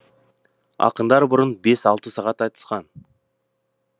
ақындар бұрын бес алты сағат айтысқан